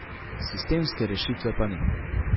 Sistemske rešitve pa ni.